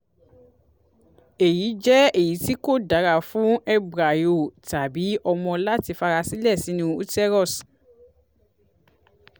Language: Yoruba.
eyi jẹ eyiti ko dara fun embryo tabi ọmọ lati farasile sinu uterus